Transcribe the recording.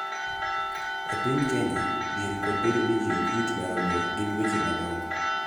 E piny Kenya, dhier kod bedo ni ji ok yuti maromre gin weche madongo